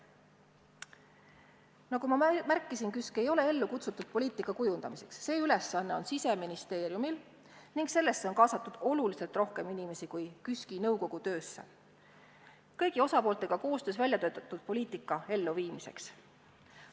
Nagu ma märkisin, ei ole KÜSK ellu kutsutud poliitika kujundamiseks – see ülesanne on Siseministeeriumil ning sellesse on kaasatud oluliselt rohkem inimesi kui KÜSK-i nõukogu töösse –, vaid kõigi osapooltega koostöös välja töötatud poliitika elluviimiseks.